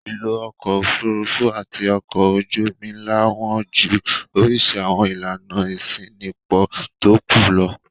Ìlò ọkọ̀-òfurufú àti ọkọ̀ ojú-omi ńlá wọ́n ju oríṣi àwọn ìlànà ìṣínípò tó kù lọ.